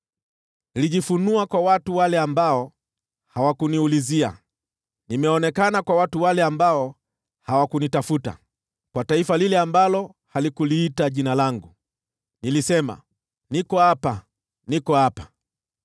“Nilijifunua kwa watu wale ambao hawakuniulizia. Nimeonekana na watu wale ambao hawakunitafuta. Kwa taifa lile ambalo halikuliita Jina langu, nilisema, ‘Niko hapa, niko hapa.’